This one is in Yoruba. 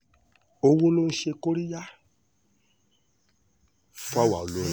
owó ló ń ṣe kóríyá fáwa olórin